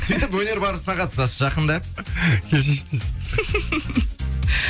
сөйтіп өнер барысына қатысасыз жақында кешірші дейсің